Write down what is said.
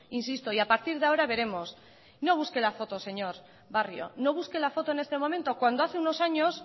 insisto y a partir de ahora veremos no busque la foto señor barrio no busque la foto en este momento cuando hace unos años